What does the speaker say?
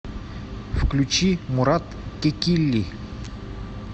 включи мурат кекилли